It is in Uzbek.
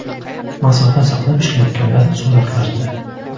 Masofa saqlab ishlayotganlar suratlarda.